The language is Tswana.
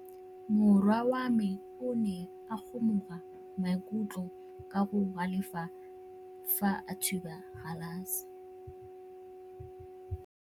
Morwa wa me o ne a kgomoga maikutlo ka go galefa fa a thuba galase.